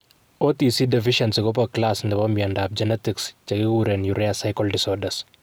OTC deficiency Kopo class nepo miondap genetics che kiguren urea cycle disorders.